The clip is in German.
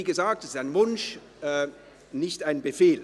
Wie gesagt, es ist ein Wunsch und kein Befehl.